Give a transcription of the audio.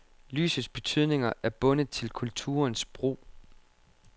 Lysets betydninger er bundet til kulturens brug.